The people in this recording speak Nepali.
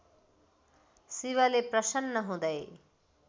शिवले प्रसन्न हुँदै